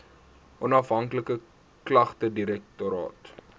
onafhanklike klagtedirektoraat